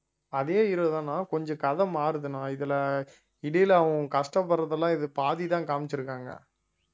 அதே hero தாண்ணா கொஞ்சம் கதை மாறுதுன்னா இதுல இடையில அவன் கஷ்டப்படுறதெல்லாம் இது பாதிதான் காமிச்சிருக்காங்க